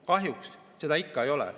Kahjuks seda ikka ei ole.